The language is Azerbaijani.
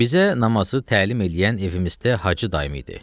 Bizə namazı təlim eləyən evimizdə hacı dayım idi.